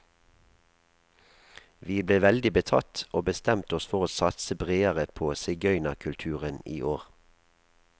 Vi ble veldig betatt, og bestemte oss for å satse bredere på sigøynerkulturen i år.